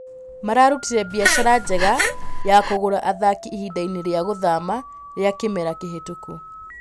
mararutire biacara njega ya kũgũra athaki ihindainĩ rĩa gũthama rĩa kĩmera kĩhĩtũku